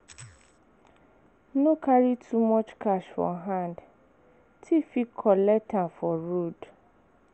No carry too much cash for hand, tiff fit collect am for road.